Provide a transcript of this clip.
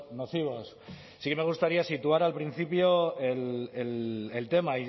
nocivos sí que me gustaría situar al principio el tema